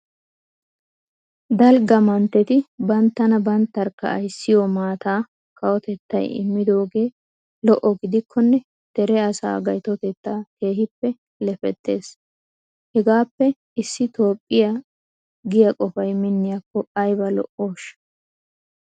Dalgga mantteti banttana banttarkka ayssiyo maataa kawotettay immidoogee lo"o gidikkonne dere asaa gaytotettaa keehippe lefettees. Hegaappe issi Toophphiya giya qofay minniyakko ayba lo"ooshsha!